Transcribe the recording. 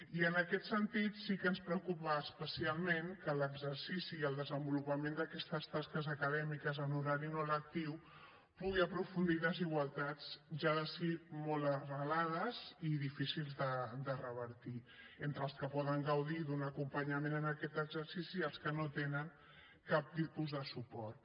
i en aquest sentit sí que ens preocupa especialment que l’exercici i el desenvolupament d’aquestes tasques acadèmiques en horari no lectiu pugui aprofundir desigualtats ja de si molt arrelades i difícils de revertir entre els que poden gaudir d’un acompanyament en aquest exercici i els que no tenen cap tipus de suport